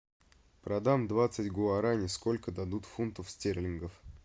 продам двадцать гуарани сколько дадут фунтов стерлингов